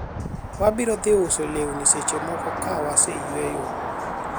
wabiro dhi uso lewni seche moko ka waseyueyo